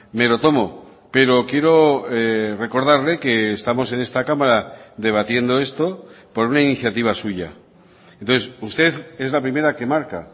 me lo tomo pero quiero recordarle que estamos en esta cámara debatiendo esto por una iniciativa suya entonces usted es la primera que marca